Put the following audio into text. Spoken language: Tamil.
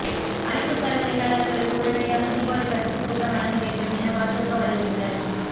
அமைப்புசாரா தொழிலாளா்களுக்கு உடனடியாக தீபாவளி பரிசுக்கூப்பன் வழங்க வேண்டும் எனபாஜக வலியுறுத்தல்